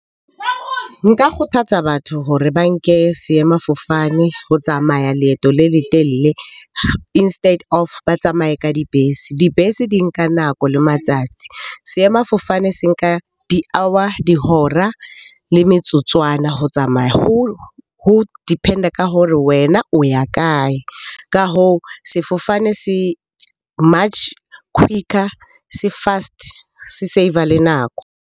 Nka kgothatsa batho hore ba nke seemafofane ho tsamaya leeto le letelle instead of ba tsamaye ka dibese, dibese di nka nako le matsatsi. Seemafofane se nka di-hour, dihora le metsotswana ho tsamaya. Ho depend-a ka hore wena o ya kae? Ka hoo, sefofane se much quicker, se fast, se save-a le nako.